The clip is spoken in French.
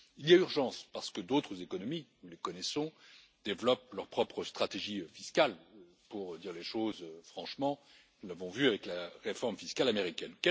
Il y a urgence parce que d'autres économies, nous les connaissons, développent leur propre stratégie fiscale pour dire les choses franchement, nous l'avons vu avec la réforme fiscale américaine.